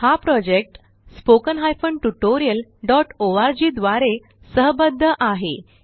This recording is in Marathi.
हा प्रॉजेक्ट httpspoken tutorialorg द्वारे सहबद्ध आहे